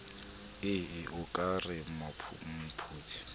ee o ka re mopheti